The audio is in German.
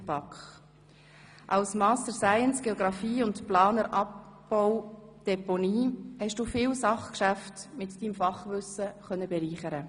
der BaK. Als Master of Science und Geografie, Planer Abbau Deponie, konntest du viele Sachgeschäfte mit deinem Fachwissen bereichern.